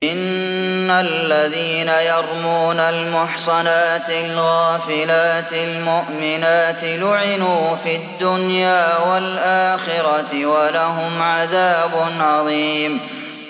إِنَّ الَّذِينَ يَرْمُونَ الْمُحْصَنَاتِ الْغَافِلَاتِ الْمُؤْمِنَاتِ لُعِنُوا فِي الدُّنْيَا وَالْآخِرَةِ وَلَهُمْ عَذَابٌ عَظِيمٌ